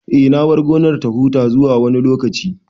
Eh, na bar gonar ta huta zuwa wani lokaci